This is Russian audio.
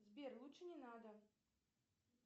сбер лучше не надо